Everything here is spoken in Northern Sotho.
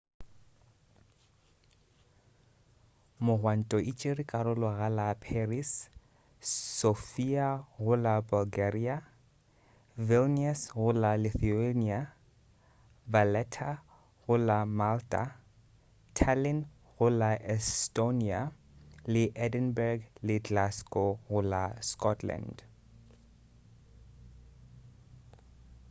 megwanto e tšere karolo go la paris sofia go la bulgaria vilnius go la lithuania valetta go la malta tallin go la estonia le edinburg le glasgow go la scotland